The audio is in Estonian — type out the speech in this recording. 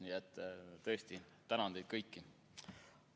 Nii et tõesti tänan teid kõiki.